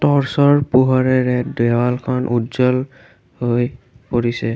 Torch ৰ পোহৰেৰে দেৱালখন উজ্জ্বল হৈ পৰিছে।